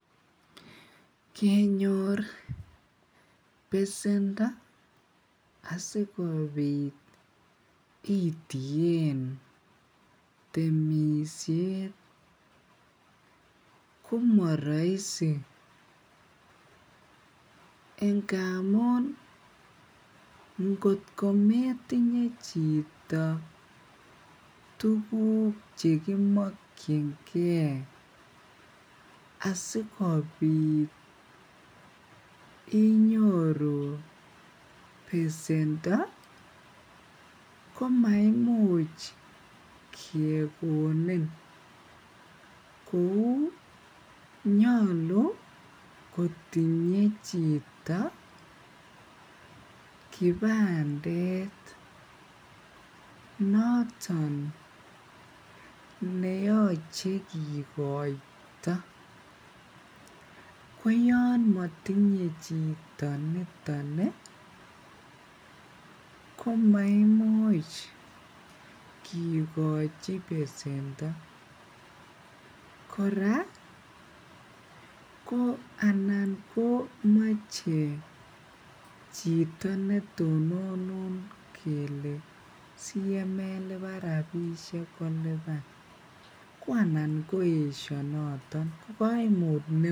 Kenyor besendo asikobit itareten temisiet komaraisi ingamuun ingot kometinye chito tuguk chekimachekienge asikobit inyoru besendo komaimuch kegonin kouu nyalu kotinye chito kibandet noton , neyache kikoito koyaan matinye chito niton ih , ko maimuch kikochi besendo kora ih anan ko mache chito netononun kele siyemailuban rabinik koluban koanan koesha noton.